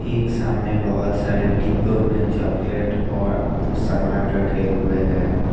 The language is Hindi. एक सामने बहोत सारे डिब्बों में चॉकलेट और सामान रखे हुए हैं।